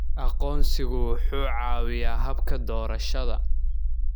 Aqoonsigu wuxuu caawiyaa habka doorashada.